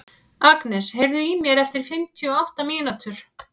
Agnes, heyrðu í mér eftir fimmtíu og átta mínútur.